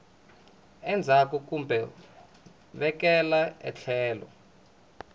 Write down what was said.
endzhaku kumbe ku vekela etlhelo